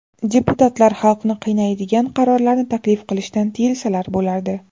Deputatlar xalqni qiynaydigan qarorlarni taklif qilishdan tiyilsalar bo‘lardi.